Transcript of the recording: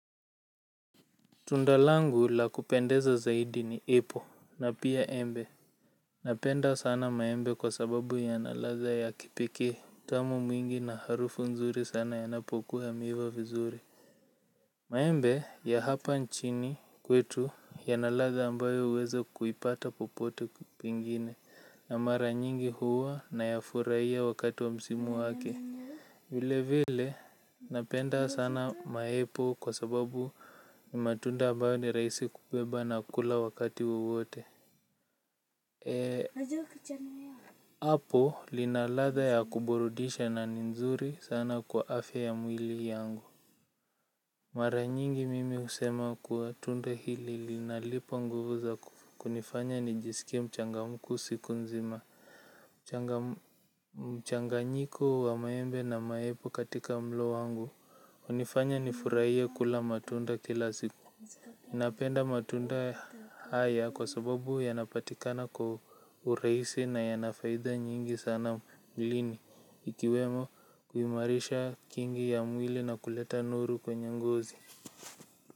Tundal angu la kupendeza zaidi ni epo na pia embe Napenda sana maembe kwa sababu yana ladha ya kipekee utamu mwingi na harufu nzuri sana yanapokuwa yameiva vizuri maembe ya hapa nchini kwetu yana ladha ambayo uwezi kuipata popote Pengine na mara nyingi huwa nayafuraiya wakati wa msimu wake vilevile napenda sana maepo kwa sababu ni matunda ambayo ni rahisi kubeba na kula wakati wowote apple lina ladha ya kuburudisha na ni nzuri sana kwa afya ya mwili yangu mara nyingi mimi husema kuwa tunda hili linanipa nguvu za kunifanya nijiskie mchangamfu siku nzima. Mchanganyiko wa maembe na maepo katika mlo wangu hunifanya nifurahie kula matunda kila siku napenda matunda haya kwa sababu yanapatikana kwa urahisi na yana faida nyingi sana mwilini ikiwemo kuimarishi kingi ya mwili na kuleta nuru kwenye ngozi.